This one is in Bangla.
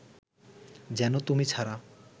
যেন তুমি ছাড়া